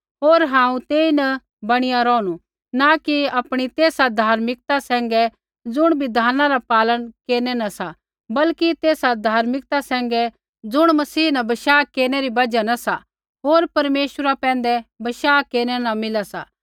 होर हांऊँ तेईन बणीया रोहणु न कि आपणी तेसा धार्मिकता सैंघै ज़ुण बिधाना रा पालन केरनै न सा बल्कि तेसा धर्मिकता सैंघै ज़ुण मसीह न बशाह केरनै री बजहा न सा होर परमेश्वरा पैंधै बशाह केरनै न मिला सा